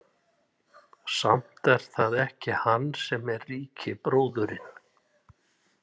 Samt er það ekki hann sem er ríki bróðirinn.